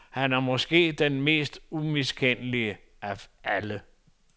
Han er måske den mest umiskendelige af alle.